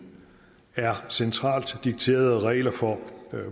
er centralt dikterede regler for